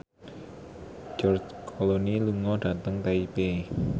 George Clooney lunga dhateng Taipei